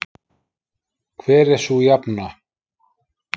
hver er sú jafna